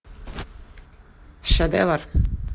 шедевр